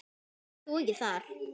Verður þú ekki þar?